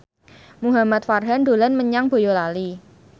Muhamad Farhan dolan menyang Boyolali